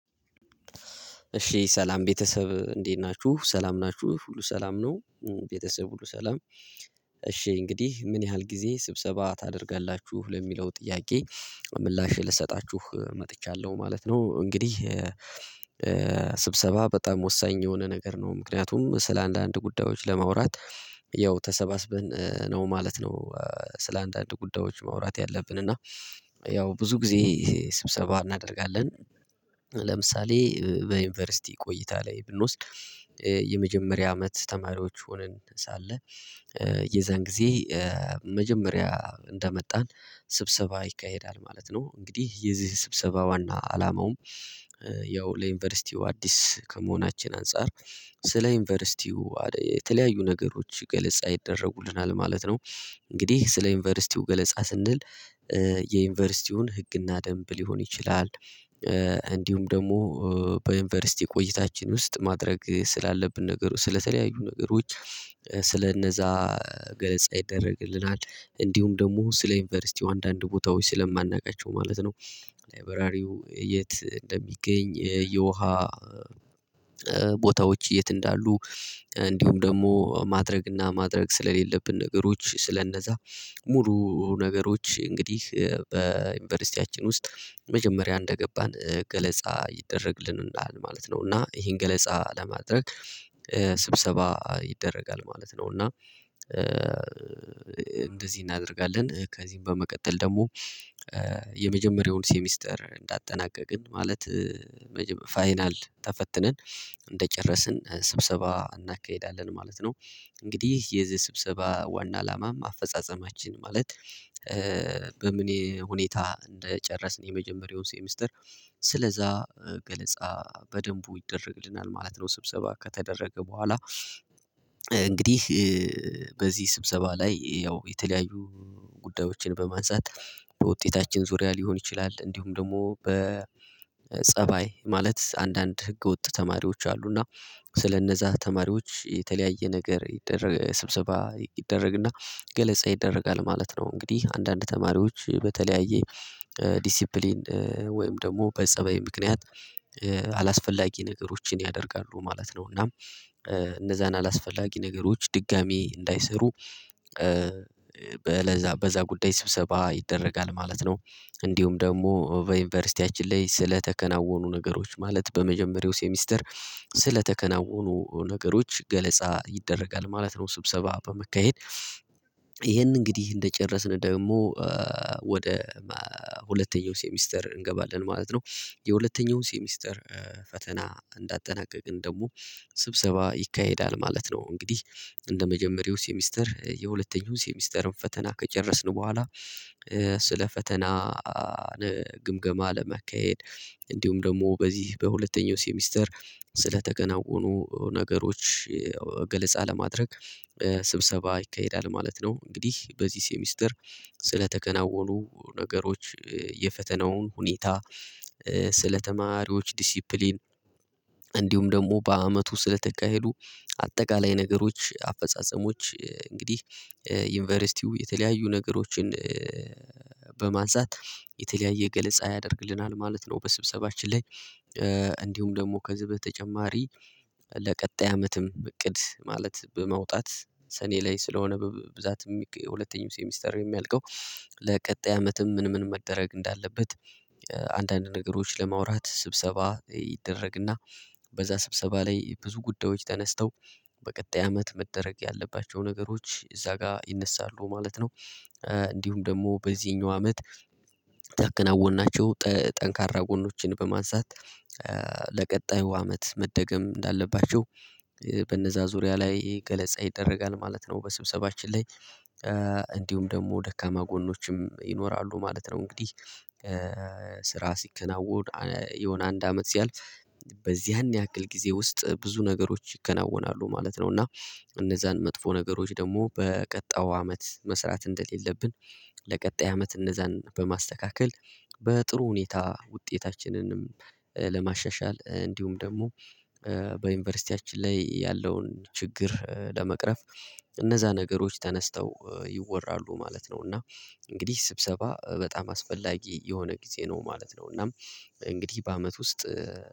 እሺ ሰላም ቤተሰብ እንዴት ናችሁ ሰላም ናችሁ ሁሉ ሰላም ነው። ቤተሰብ ሁሉ ሰላም እሺ እንግዲህ ምን ያህል ጊዜ ስብሰባ ታደርጋላችሁ ለሚለው ጥያቄ? ምላሽ ልሰጣችሁ መጥቻለሁ ማለት ነው እንግዲህ። ስብሰባ በጣም ወሳኝ የሆነ ነገር ነው ምክንያቱም ስለ አንዳንድ ጉዳዮች ለማውራት ያው ተሰባስበን ነው ማለት ነው። ስለ አንዳንድ ጉዳዮች ማውራት ያለብን እና ያው ብዙ ጊዜ ስብሰባ እናደርጋለን። ለምሳሌ በዩኒቨርስቲ ቆይታ ላይ ብንወስድ የመጀመሪያ አመት ተማሪዎች ሆነን ሳለ የዛን ጊዜ መጀመሪያ እንደመጣን ስብሰባ ይካሄዳል ማለት ነው። እንግዲህ የዚህ ስብሰባ ዋና አላማውም ያው ለዩኒቨርስቲው አዲስ ከመሆናችን አንፃር ስለ ዩኒቨርስቲው የተለያዩ ነገሮች ገለጻ ይደረጉልናል ማለት ነው። እንግዲህ ስለ ዩኒቨርስቲው ገለጻ ስንል የዩኒቨርስቲውን ህግና ደንብ ሊሆን ይችላል። እንዲሁም ደግሞ በዩኒቨርስቲ ቆይታችን ውስጥ ማድረግ ስላለብን ነገር ስለተለያዩ ነገሮች ስለነዛ ገለጻ ይደረግልናል እንዲሁም ደግሞ ስለ ዩኒቨርሲቲው አንዳንድ ቦታዎች ስለማናውቃቸው ማለት ነው። ላይብራሪው የት እንደሚገኝ የውሃ ቦታዎች የት እንዳሉ እንዲሁም ደግሞ ማድረግ እና ማድረግ ስለሌለብን ነገሮች ስለነዛ ሙሉ ነገሮች እንግዲህ በዩኒቨርስቲያችን ውስጥ መጀመሪያ እንደገባን ገለጻ ይደረግልናል ማለት ነው። እና ይሄን ገለጻ ለማድረግ ስብሰባ ይደረጋል ማለት ነው። እና እንደዚህ እናደርጋለን ከዚህም በመቀጠል ደግሞ የመጀመሪያውን ሴሚስተር እንዳጠናቀቅን ማለት ፋይናል ተፈትነን እንደጨረስን ስብሰባ እናካሄዳለን ማለት ነው። እንግዲህ የዚህ ስብሰባ ዋና አላማም አፈጻጸማችን ማለት በምን ሁኔታ እንደጨረስን የመጀመሪያውን ሴሚስተር ስለዛ ገለጻ በደንቡ ይደረግልናል ማለት ነው። ስብሰባ ከተደረገ በኋላ እንግዲህ በዚህ ስብሰባ ላይ ያው የተለያዩ ጉዳዮችን በማንሳት በውጤታችን ዙሪያ ሊሆን ይችላል እንዲሁም ደግሞ በጸባይ ማለት አንዳንድ ህገወጥ ተማሪዎች አሉ እና ስለነዛ ተማሪዎች የተለያየ ነገር ይደረግ ስብሰባ ይደረግና ገለጻ ይደረጋል ማለት ነው። እንግዲህ አንዳንድ ተማሪዎች በተለያየ ዲሲፕሊን ወይም ደግሞ በጸባይ ምክንያት አላስፈላጊ ነገሮችን ያደርጋሉ ማለት ነው። እና እነዛን አላስፈላጊ ነገሮች ድጋሚ እንዳይሰሩ በዛ በዛ ጉዳይ ስብሰባ ይደረጋል ማለት ነው። እንዲሁም ደግሞ በዩኒቨርስቲያችን ላይ ስለተከናወኑ ነገሮች ማለት በመጀመሪያው ሴሚስተር ስለተከናወኑ ነገሮች ገለጻ ይደረጋል ማለት ነው። ስብሰባ በመካሄድ ይሄንን እንግዲህ እንደጨረስን ደግሞ ወደ ሁለተኛው ሴሚስተር እንገባለን ማለት ነው። የሁለተኛውን ሴሚስተር ፈተና እንዳጠናቀቅን ደግሞ ስብሰባ ይካሄዳል ማለት ነው። እንግዲህ እንደመጀመሪያው ሴሚስተር የሁለተኛውን ሴሚስተርን ፈተና ከጨረስን በኋላ ስለ ፈተና ግምገማ ለመካሄድ እንዲሁም ደግሞ በዚህ በሁለተኛው ሴሚስተር ስለተከናወኑ ነገሮች ገለጻ ለማድረግ ስብሰባ ይካሄዳል ማለት ነው። እንግዲህ በዚህ ሴሚስተር ስለተከናወኑ ነገሮች የፈተናውን ሁኔታ ስለተማሪዎች ዲሲፕሊን እንዲሁም ደግሞ በአመቱ ስለተካሄዱ አጠቃላይ ነገሮች አፈጻጸሞች እንግዲህ ዩኒቨርሲቲው የተለያዩ ነገሮችን በማንሳት የተለያየ ገለጻ ያደርግልናል ማለት ነው። በስብሰባችን ላይ እንዲሁም ደግሞ ከዚህ በተጨማሪ ለቀጣይ አመትም እቅድ ማለት በመውጣት ሰኔ ላይ ስለሆነ በብዛት ሁለተኛው ሴሚስተር የሚያልቀው ለቀጣይ አመትም ምን ምን መደረግ እንዳለበት አንዳንድ ነገሮች ለማውራት ስብሰባ ይደረግና በዛ ስብሰባ ላይ ብዙ ጉዳዮች ተነስተው በቀጣይ አመት መደረግ ያለባቸው ነገሮች እዛ ጋር ይነሳሉ ማለት ነው። እንዲሁም ደግሞ በዚህኛው አመት ታከናወናቸው ጠንካራ ጎኖችን በማንሳት ለቀጣዩ አመት መደገም እንዳለባቸው በነዛ ዙሪያ ላይ ገለጻ ይደረጋል ማለት ነው። በስብሰባችን ላይ እንዲሁም ደግሞ ደካማ ጎኖችም ይኖራሉ ማለት ነው። እንግዲህ ስራ ሲከናወን የሆነ አንድ አመት ሲያልፍ በዚያን ያክል ጊዜ ውስጥ ብዙ ነገሮች ይከናወናሉ ማለት ነው። እና እነዛን መጥፎ ነገሮች ደግሞ በቀጣኡ አመት መስራት እንደሌለብን ለቀጣይ አመት እነዛን በማስተካከል በጥሩ ሁኔታ ውጤታችንንም ለማሻሻል እንዲሁም ደግሞ በዩኒቨርስቲያችን ላይ ያለውን ችግር ለመቅረፍ እነዛ ነገሮች ተነስተው ይወራሉ ማለት ነው። እና እንግዲህ ስብሰባ በጣም አስፈላጊ የሆነ ጊዜ ነው ማለት ነው። እናም እንግዲህ በአመት ውስጥ